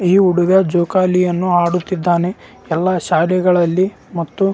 ಈ ಹುಡುಗನು ನೀಲಿ ಕಲರ್ ನೀಲಿ ಕಲರ್ ಬಣ್ಣದ ಪ್ಯಾಂಟ್ ಮತ್ತು ಹಸಿರು ಕಲರ್ ಬಣ್ಣದ ಶರ್ಟ್ ಅನ್ನು ಧರಿಸಿದ್ದಾನೆ.